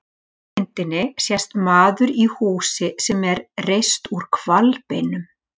Ofarlega á myndinni sést maður í húsi sem er reist úr hvalbeinum.